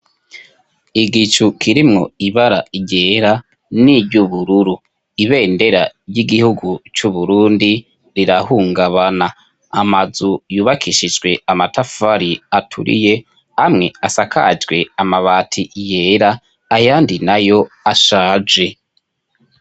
Igicu kirimwo ibara ryera n'iry'ubururu ,ibendera ry'igihugu cy'uburundi rirahungabana ,amazu yubakishijwe amatafari aturiye ,amwe asakajwe amabati yera ,ayandi nayo ashaje.